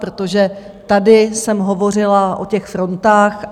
Protože tady jsem hovořila o těch frontách.